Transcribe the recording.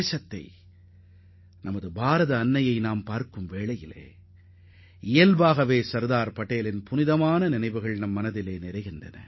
இந்திய தாயாக நாம் கருதும் நம் தேசத்தின் மீது நாம் கொண்டுள்ள ஒற்றுமை உணர்வு தானாகவே சர்தார் வல்லபாய் பட்டேலை நினைவுகூறச்செய்யும்